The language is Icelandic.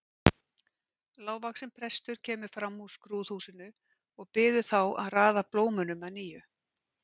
Lágvaxinn prestur kemur fram úr skrúðhúsinu og biður þá að raða blómunum að nýju.